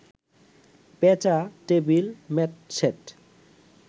পেঁচা, table mat set